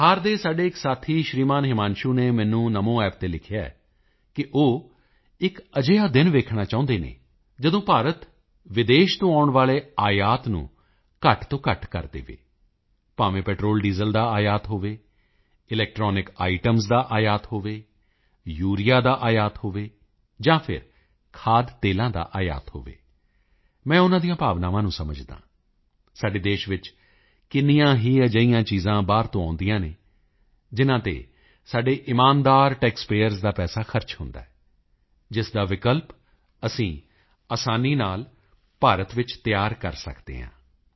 ਬਿਹਾਰ ਦੇ ਸਾਡੇ ਇੱਕ ਸਾਥੀ ਸ਼੍ਰੀਮਾਨ ਹਿਮਾਂਸ਼ੂ ਨੇ ਮੈਨੂੰ NaMoApp ਤੇ ਲਿਖਿਆ ਹੈ ਕਿ ਉਹ ਇੱਕ ਅਜਿਹਾ ਦਿਨ ਦੇਖਣਾ ਚਾਹੁੰਦੇ ਹਨ ਜਦੋਂ ਭਾਰਤ ਵਿਦੇਸ਼ ਤੋਂ ਆਉਣ ਵਾਲੇ ਆਯਾਤ ਨੂੰ ਘੱਟ ਤੋਂ ਘੱਟ ਕਰ ਦੇਵੇ ਭਾਵੇਂ ਪੈਟਰੋਲ ਡੀਜ਼ਲ ਈਂਧਣ ਦਾ ਆਯਾਤ ਹੋਵੇ ਇਲੈਕਟ੍ਰੌਨਿਕ ਆਈਟੈਮਜ਼ ਦਾ ਆਯਾਤ ਹੋਵੇ ਯੂਰੀਆ ਦਾ ਆਯਾਤ ਹੋਵੇ ਜਾਂ ਫਿਰ ਖਾਦ ਤੇਲਾਂ ਦਾ ਆਯਾਤ ਹੋਵੇ ਮੈਂ ਉਨ੍ਹਾਂ ਦੀਆਂ ਭਾਵਨਾਵਾਂ ਨੂੰ ਸਮਝਦਾ ਹਾਂ ਸਾਡੇ ਦੇਸ਼ ਵਿੱਚ ਕਿੰਨੀਆਂ ਹੀ ਅਜਿਹੀਆਂ ਚੀਜ਼ਾਂ ਬਾਹਰ ਤੋਂ ਆਉਂਦੀਆਂ ਹਨ ਜਿਨ੍ਹਾਂ ਤੇ ਸਾਡੇ ਇਮਾਨਦਾਰ ਟੈਕਸ ਪੇਅਰਜ਼ ਦਾ ਪੈਸਾ ਖਰਚ ਹੁੰਦਾ ਹੈ ਜਿਸ ਦਾ ਵਿਕਲਪ ਅਸੀਂ ਅਸਾਨੀ ਨਾਲ ਭਾਰਤ ਵਿੱਚ ਤਿਆਰ ਕਰ ਸਕਦੇ ਹਾਂ